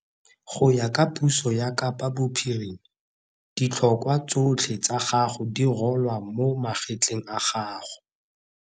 Go ya ka puso ya Kapa Bophirima, ditlhokwa tsotlhe tsa gago di rolwa mo magetleng a gago.